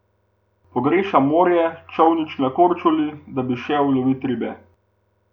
Pogrešam morje, čolnič na Korčuli, da bi šel lovit ribe.